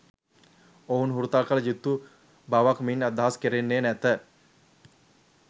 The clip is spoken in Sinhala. ඔවුන් හුරතල්කල යුතු බවක් මින් අදහස් කෙරෙන්නේ නැත.